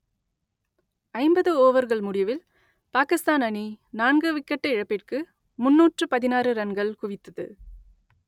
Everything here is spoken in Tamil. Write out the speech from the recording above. ஐம்பது ஓவர்கள் முடிவில் பாகிஸ்தான் அணி நான்கு விக்கெட் இழப்பிற்கு முன்னூற்று பதினாறு ரன்கள் குவித்தது